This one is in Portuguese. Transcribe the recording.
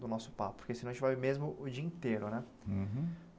do nosso papo, porque senão a gente vai mesmo o dia inteiro, né? Uhum